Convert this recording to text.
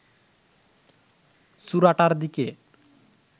চূড়াটার দিকে